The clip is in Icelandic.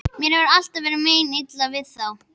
Mér hefur alltaf verið meinilla við þá.